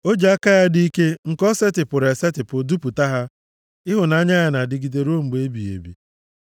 O ji aka ya dị ike nke o setịpụrụ esetipụ dupụta ha; Ịhụnanya ya na-adịgide ruo mgbe ebighị ebi.